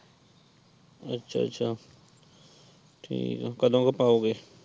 ਅੱਛਾ-ਅੱਛਾ ਠੀਕ ਏ ਕਦੋਂ ਕ ਪਾਓਗੇ?